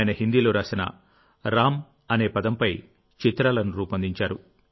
ఆయన హిందీలో రాసిన రామ్ అనే పదంపై చిత్రాలను రూపొందించారు